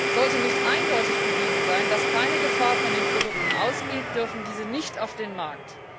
Sollte nicht eindeutig bewiesen sein, dass keine Gefahr von diesen Produkten ausgeht, dürfen diese nicht auf den Markt.